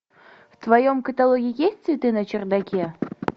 в твоем каталоге есть цветы на чердаке